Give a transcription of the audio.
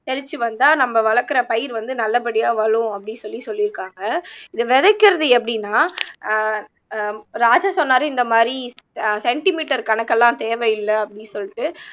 தெளிச்சு வந்தா நம்ம வளக்குற பயிர் வந்து நல்லபடியா அப்படீன்னு சொல்லி சொல்லிருக்காங்க இதை விதைக்கிறது எப்படின்னா ஆஹ் அஹ் ராஜா சொன்னாரு இந்த மாதிரி அஹ் சென்டிமீட்டர் கணக்கெல்லாம் தேவையில்ல அப்படி சொல்லிட்டு